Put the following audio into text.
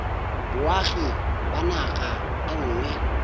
boagi ba naga e nngwe